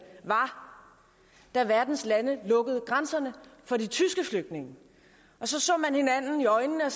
af at verdens lande lukkede grænserne for de tyske flygtninge så så man hinanden i øjnene og